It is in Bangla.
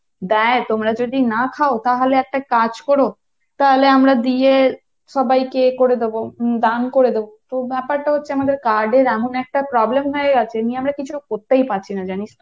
দেয় তোমরা যদি না খাও তাহলে একটা কাজ করো তাহলে আমরা দিয়ে সবাইকে ইয়ে করে দেব দান করে দেব, তো ব্যাপারটা হচ্ছে আমাদের card এর এমন একটা problem হয়ে গেছে এ নিয়ে আমরা কিছু করতেই পারছি না জানিস তো